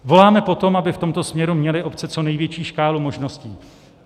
Voláme po tom, aby v tomto směru měly obce co největší škálu možností.